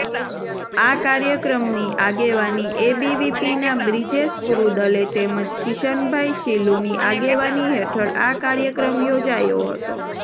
આ કાર્યક્રમની આગેવાની એબીવીપીના બ્રિજેશ કુરૂદલે તેમજ કિશનભાઇ શીલુની આગેવાની હેઠળ આ કાર્યક્રમ યોજાયો હતો